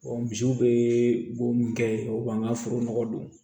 misiw bɛ bo min kɛ o b'an ka foro nɔgɔ don